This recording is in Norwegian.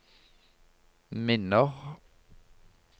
minner